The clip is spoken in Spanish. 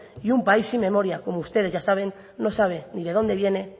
y un país sin memoria como ustedes ya saben no sabe ni de dónde viene